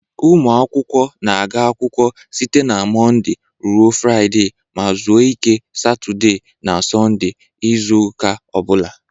Ụmụ akwụkwọ na-aga akwụkwọ site na Mọnde ruo Fraịde ma zuo ike Satode na Sọnde izu ụka o bụla.